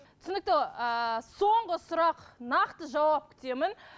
түсінікті ыыы соңғы сұрақ нақты жауап күтемін